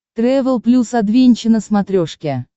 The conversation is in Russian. трэвел плюс адвенча на смотрешке